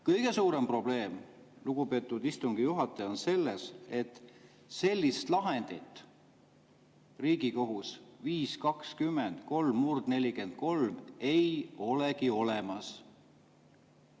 Kõige suurem probleem, lugupeetud istungi juhataja, on selles, et sellist Riigikohtu lahendit 5‑20‑3/43 ei olegi olemas.